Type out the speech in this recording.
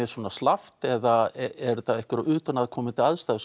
svona slappt eða eru utanaðkomandi aðstæður